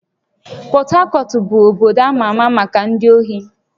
Port Harcourt bụ obodo ama ama maka ndị ohi